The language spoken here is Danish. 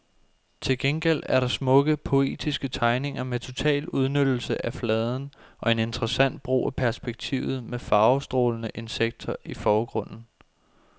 Til gengæld er der smukke, poetiske tegninger med total udnyttelse af fladen og en interessant brug af perspektivet, med farvestrålende insekter i forgrunden.